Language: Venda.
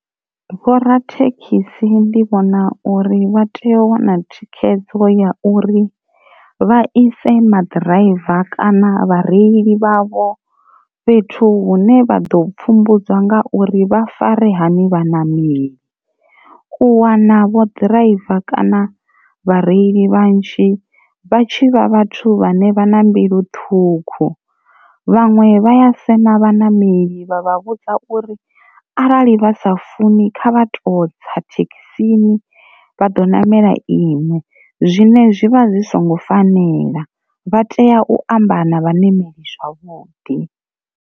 Vhorathekhisi ndi vhona uri vha tea u wana thikhedzo ya uri vha ise maḓiraiva kana vhareili vhavho fhethu hune vha ḓo pfhumbudzwa nga uri vha fare hani vha nameli, u wana vho ḓiraiva kana vhareili vhanzhi vha tshi vha vhathu vhane vha na mbilu ṱhukhu vhanwe vhaya sema vhaṋameli vha vha vhudza u uri arali vha sa funi kha vha to tsa thekhisini vha ḓo ṋamela ine zwine zwivha zwi songo fanela vha tea u amba na vhanemeli zwavhuḓi.